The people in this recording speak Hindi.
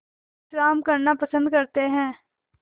विश्राम करना पसंद करते हैं